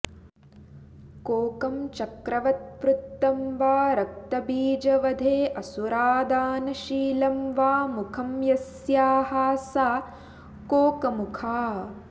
कोकं चक्रवत् वृत्तं वा रक्तबीजवधेऽसुरादानशीलं वा मुखं यस्याः सा कोकमुखा